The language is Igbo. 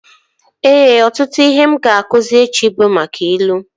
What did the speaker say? Ee, ọtụtụ ihe m ga-akụzi echi bụ maka ilu